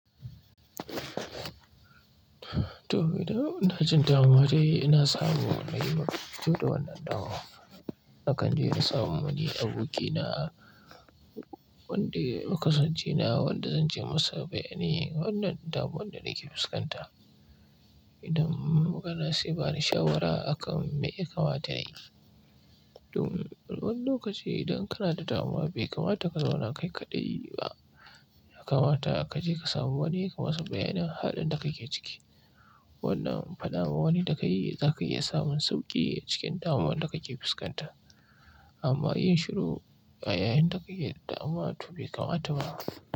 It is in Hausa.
Toh, ina jin damuwa dai ina samun wani yau da wannan dama. Akan je in samu wani aboki na wanda kasan cena, wanda zan ce masa, "Bayanin wannan damuwan da nake fuskanta." Idan magana saibani shawara akan me ya kamata na yi. Dun, wani lokaci idan kana da damuwa bai kamata ka zauna kai kaɗai ba. Kamata ka je ka samu wani kamasa bayanin halin da kake ciki. Wannan faɗa ma wani da ka yi, za ka iya samun sauƙi cikin damuwar da kake fuskanta. Amma yin shiru a yayin da ka ke da damuwa, to bai kamata ba.